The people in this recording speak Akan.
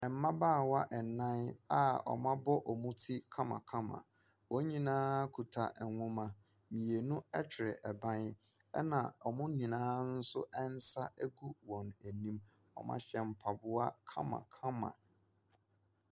Mmaabawa ɛnnan a ɔmo abɔ ɔmo ti kamakama. Wɔn nyinaa kita nhoma. Mmienu ɛtwerɛ ɛban, ɛna ɔmo nyinaa wɔn nsa agu wɔn anim. Ɔmo ahyɛ mpaboa kamakama.